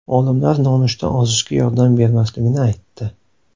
Olimlar nonushta ozishga yordam bermasligini aytdi.